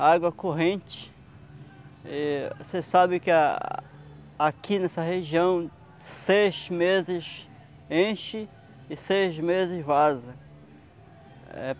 A água corrente, eh você sabe que a aqui nessa região, seis meses enche e seis meses vaza.